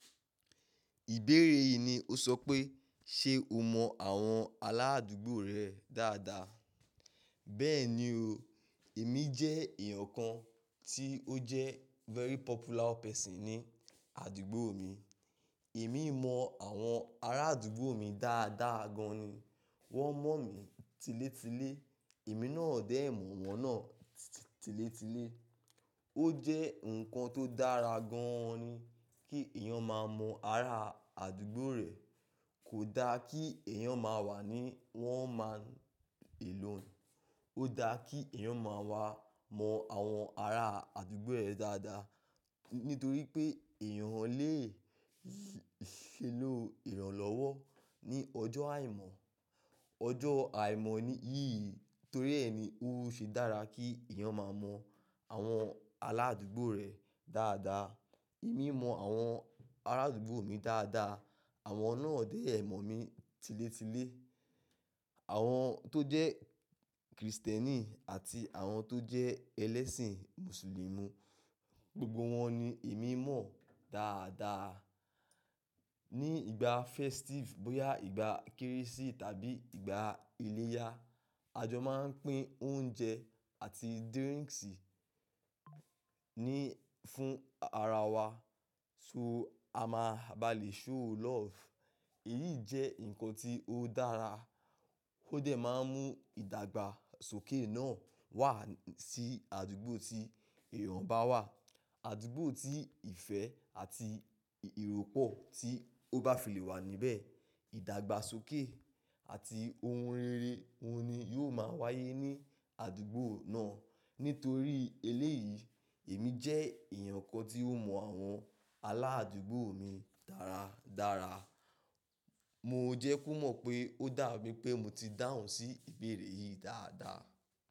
Ìbéèrè yìí ni o sọ pé, ṣe o mọ àwọn aládùúgbò rẹ dáadáa? Bẹ́ẹ̀ni o, èmi jẹ́ èèyàn kan tí ó jẹ́ very popular person ní àdúgbò mi. Èmi mọ àwọn ará àdúgbò mi dáadáa gan ni. Wọ́n mọ̀ mí tiletile, èmi náà dẹ̀ mọ̀ wọ́n náà tiletile. Ó jẹ́ nǹkan tó dára gan-an ni kí èèyàn máa mọ ara àdúgbò rẹ̀. Kò da kí èèyàn máa wà ní one man alone. Ó da kí èèyàn máa wà mọ àwọn ara àdúgbò rẹ̀ dáadáa, nítorí pé èèyàn lè ṣelọ́ ìrànlọ́wọ́ ní ọjọ́ àìmọ́. Ọjọ́ àìmọ́ yìí torí ẹ ni ó ṣe dára kí èèyàn máa mọ àwọn aládùúgbò rẹ̀ dáadáa. Èmi mọ àwọn ará àdúgbò mi dáadáa, àwọn náà dẹ̀ mọ̀ mí tiletile. Àwọn tó jẹ́ Kristẹni àti àwọn tó jẹ́ ẹlẹ́sìn Mùsùlùmí, gbogbo wọn ni èmi mọ̀ dáadáa. Ni ìgbà festive, bóyá ìgbà Kérésì tàbí ìgbà iléyá, a jọ máa ń pín oúnjẹ àti drinks ni fún ara wa. So a máa balè show love. Èyí jẹ́ nǹkan tí ó dára, ó dẹ̀ máa ń mú ìdàgbàsókè náà wá sí àdúgbò tí èèyàn bá wà. Àdúgbò tí ìfẹ́ àti ìrọ́pò tí ó bá fi lè wà níbẹ̀. Ìdàgbàsókè àti ohun rere oun ni yóò máa wáyé ní àdúgbò náà. Nítorí eléyìí, èmi jẹ́ èèyàn kan tí ó mọ àwọn aládùúgbò mi dáradára. Mo jẹ́ kó mọ̀ pé ó dà mí pé mo ti dáhùn sí ìbéèrè yìí dáadáa.